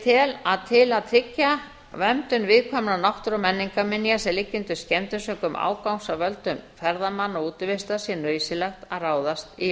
tel að til að tryggja verndun viðkvæmrar náttúru og menningarminja sem liggja undir skemmdum sökum ágangs af völdum ferðamanna og útivistar sé nauðsynlegt að ráðast í